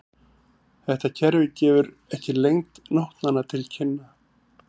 Þetta kerfi gefur ekki lengd nótnanna til kynna.